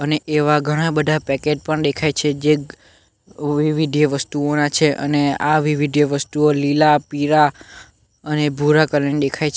અને એવા ઘણા બધા પેકેટ પણ દેખાય છે જે વિવિધ્ય વસ્તુઓના છે અને આ વિવિધ્ય વસ્તુઓ લીલા પીરા અને ભૂરા કલર ની દેખાય છે.